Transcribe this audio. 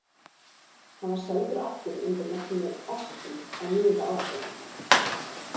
Hann var seldur aftur undir merkinu Austin á níunda áratugnum.